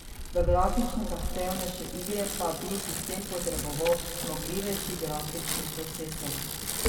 Za grafično zahtevnejše igre pa bi sistem potreboval zmogljivejši grafični procesor.